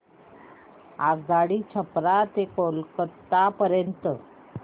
आगगाडी छपरा ते कोलकता पर्यंत